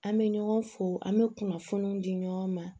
An bɛ ɲɔgɔn fo an bɛ kunnafoniw di ɲɔgɔn ma